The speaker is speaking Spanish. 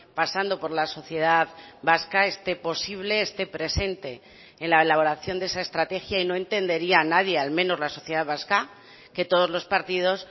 pasando por la sociedad vasca esté posible esté presente en la elaboración de esa estrategia y no entendería nadie al menos la sociedad vasca que todos los partidos